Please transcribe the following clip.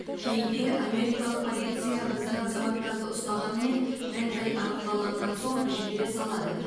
кейде америкалық полиция біздің азаматтарды ұстағанымен мән жай анықталғаннан соң жібере салады